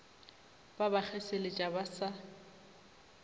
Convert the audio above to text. ba ba kgeseletša ba sa